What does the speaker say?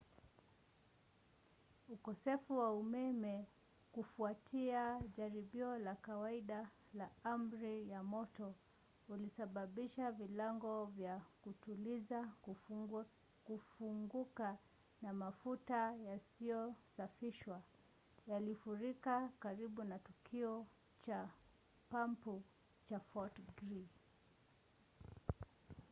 ukosefu wa umeme kufuatia jaribio la kawaida la amri ya moto ulisababisha vilango vya kutuliza kufunguka na mafuta yasiyosafishwa yalifurika karibu na kituo cha pampu cha fort greely